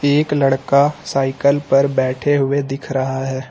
एक लड़का साइकल पर बैठे हुए दिख रहा है।